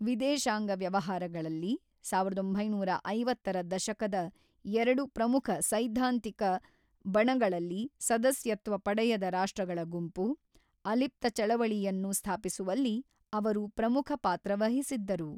ವಿದೇಶಾಂಗ ವ್ಯವಹಾರಗಳಲ್ಲಿ, ಸಾವಿರದ ಒಂಬೈನೂರ ಐವತ್ತರ ದಶಕದ ಎರಡು ಪ್ರಮುಖ ಸೈದ್ಧಾಂತಿಕ ಬಣಗಳಲ್ಲಿ ಸದಸ್ಯತ್ವ ಪಡೆಯದ ರಾಷ್ಟ್ರಗಳ ಗುಂಪು, ಅಲಿಪ್ತ ಚಳವಳಿಯನ್ನು ಸ್ಥಾಪಿಸುವಲ್ಲಿ ಅವರು ಪ್ರಮುಖ ಪಾತ್ರ ವಹಿಸಿದ್ದರು.